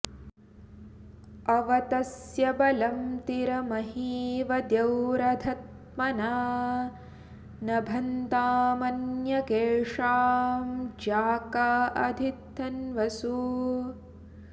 अव॒ तस्य॒ बलं॑ तिर म॒हीव॒ द्यौरध॒ त्मना॒ नभ॑न्तामन्य॒केषां॑ ज्या॒का अधि॒ धन्व॑सु